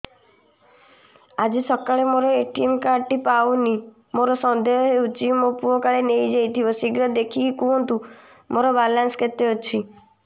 ଆଜି ସକାଳେ ମୋର ଏ.ଟି.ଏମ୍ କାର୍ଡ ଟି ପାଉନି ମୋର ସନ୍ଦେହ ହଉଚି ମୋ ପୁଅ କାଳେ ନେଇଯାଇଥିବ ଶୀଘ୍ର ଦେଖି କୁହନ୍ତୁ ମୋର ବାଲାନ୍ସ କେତେ ଅଛି